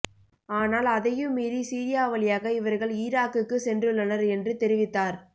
ஆனால் அதையும் மீறி சிரியா வழியாக இவர்கள் ஈராக்குக்கு சென்றுள்ளனர் என்று தெரிவித்தார்